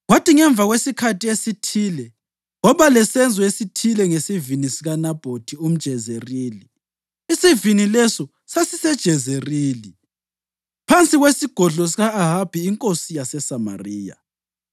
Kwathi ngemva kwesikhathi esithile kwaba lesenzo esithile ngesivini sikaNabhothi umJezerili. Isivini leso sasiseJezerili, phansi kwesigodlo sika-Ahabi inkosi yaseSamariya.